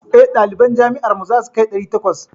Eh, ɗaliban jami'ar mu zasu kai ɗari takwas.